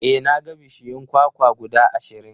E, na ga bishiyun kwakwa guda ashirin.